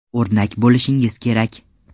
O‘rnak bo‘lishingiz kerak.